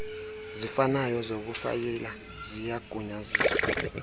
zifanayo zokufayila ziyagunyaziswa